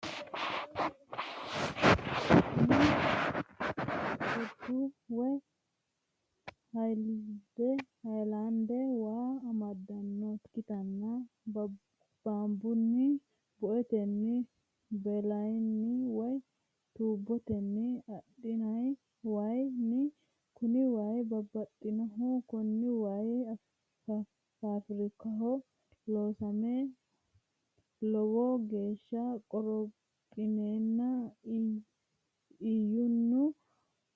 Kuni koddu woy hayilande waa amaddinnota ikkitanna bambunni, buetenni, baletenni woy tuubbotenni adhinay wayin kuni way baxxannohu kuni way fafrikaho loosame lowo geeshsa qorophinenna ishinu nookki garinni cuunfe mannu agara hirranniho.